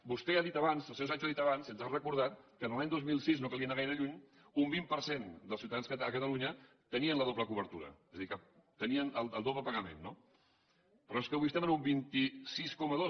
vostè ha dit abans el senyor sancho ha dit abans i ens ha recordat que l’any dos mil sis no calia anar gaire lluny un vint per cent dels ciutadans a catalunya tenien la doble cobertura és a dir que tenien el doble pagament no però és que avui estem en un vint sis coma dos